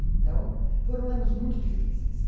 Então, foram anos muito difíceis.